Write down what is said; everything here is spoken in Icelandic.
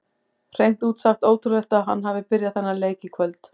Hreint út sagt ótrúlegt að hann hafi byrjað þennan leik í kvöld.